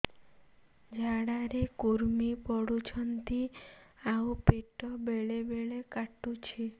ଝାଡା ରେ କୁର୍ମି ପଡୁଛନ୍ତି ଆଉ ପେଟ ବେଳେ ବେଳେ କାଟୁଛି